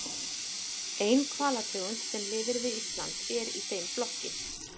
Engin hvalategund sem lifir við Ísland er í þeim flokki.